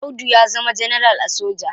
Audu ya zama ganaral a soja.